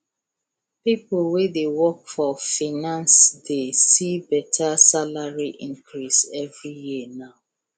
people wey dey work for finance dey see better salary increase every year now